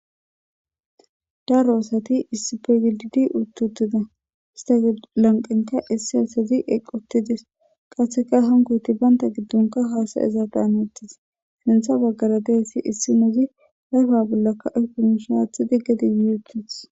Daro asati issippe gididi uttidosona istappekka issi issi asati eqqi uttides. Qasseka hankoyti banta giddonkka haasa'izadan hanetes. Sinththa baggara diyayssi issinozi ayfa bollaka aykko miishshe aaththidi gede yuuyi uttides.